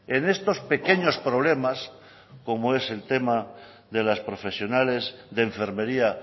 en estos pequeños problemas como es el tema de las profesionales de enfermería